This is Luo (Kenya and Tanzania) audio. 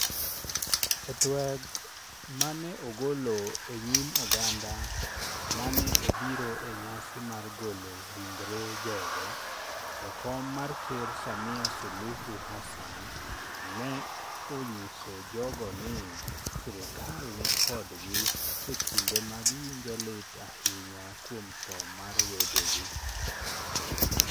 E tweg ma ne ogolo e nyim oganda ma ne obiro e nyasi mar golo ringre jogo, Jakom mar Ker Samia Suluhu Hassan, ne onyiso jogo ni, sirkal ni kodgi e kinde ma giwinjo lit ahinya kuom tho mar wedegi.